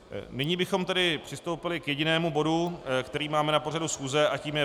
Nyní bychom tedy přistoupili k jedinému bodu, který máme na pořadu schůze, a tím je